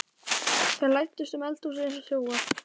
Þeir læddust um eldhúsið eins og þjófar.